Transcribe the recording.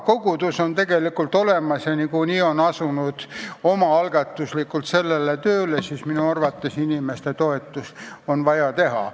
Kogudus on tegelikult olemas ja nad on asunud omaalgatuslikult taastustööle, minu arvates on vaja neid inimesi toetada.